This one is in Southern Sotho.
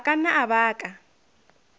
a ka nna a baka